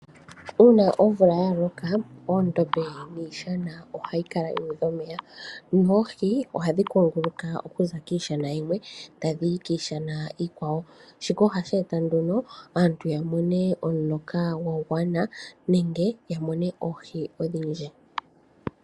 Uuna omvula ya loka oondombe niishana ohayi kala yuudha omeya, noohi ohadhi kunguluka okuza kiishana yimwe tadhi yi kiishana iikwawo, shika ohashi eta nduno aantu ya mone omuloka gwa gwana nenge ya mone oohi odhindji.